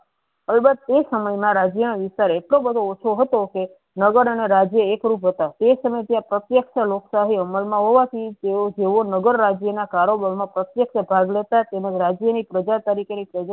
હવે બસ એ સમય મા રાજ્યો નો વિકાર એટલો બધો ઓછો હતો કે નગર અને રાજ્ય એક રૂપ હતા તે સમય ત્યા પ્રત્ક્ય્શ લોકશાહી અમલ મા હોવા થી તેવો જેવો નગર રાજ્ય ના કારોબર મા પ્રત્યેક ભાગ લેતા તેના રાજ્ય ની પ્રજા તરીકે.